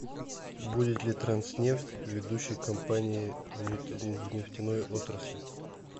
будет ли транснефть ведущей компанией в нефтяной отрасли